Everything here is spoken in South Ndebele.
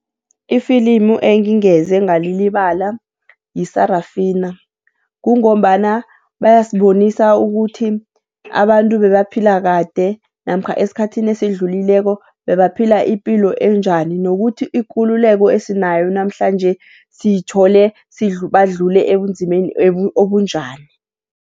Ifilimu engingeze ngalilibala yi-Sarafina. Kungombana bayasibonisa ukuthi abantu ebebaphila kade namkha esikhathini esidlulileko bebaphila ipilo enjani, nokuthi ikululeko esinayo namhlanje siyithole badlule ebumzimbeni obunjani.